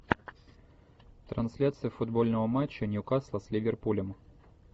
трансляция футбольного матча ньюкасл с ливерпулем